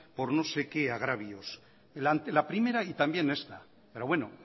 por no sé qué agravios la primera y también esta pero bueno